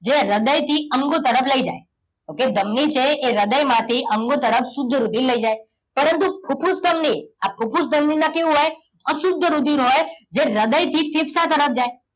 જે હદય થી અંગ તરફ લઈ જાય okay ધમની છે એ હદયમાંથી અંગો તરફ શુદ્ધ રુધિર લઈ જાય. પરંતુ ફૂફૂસ ધમની, આ ફૂફૂસ ધમની માં કેહવુ હોય અશુદ્ધ રુધિર હોય જે હૃદયથી તરફ જાય.